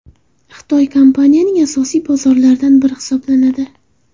Xitoy kompaniyaning asosiy bozorlaridan biri hisoblanadi.